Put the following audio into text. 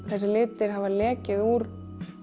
þessir litir hafa lekið úr